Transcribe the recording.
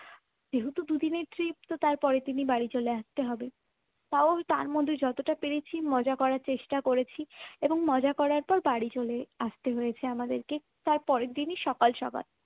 যেহেতু দুদিনের trip তাই তার পরের দিনই বাড়িতে চলে আসতে হবে। তাও তার মধ্যে যতটা পেরেছি মজা করার চেষ্টা করেছি এবং মজা করার পর বাড়ি চলে আসতে হয়েছে আমাদেরকে তার পরের দিনে সকাল সকাল